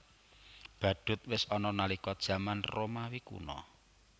Badhut wis ana nalika jaman Romawi Kuna